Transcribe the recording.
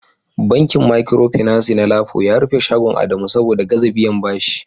bankin Micropinaci na Lapo ya rufe shagon Adamu saboda gaza biyan bashi